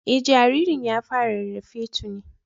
Eh, jaririn ya fara rarrafe tuni